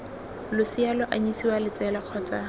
losea lo anyisiwa letsele kgotsa